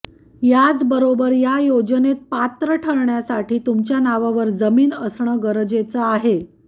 याचबरोबर या योजनेत पात्र ठरण्यासाठी तुमच्या नावावर जमीन असणं गरजेचं आहे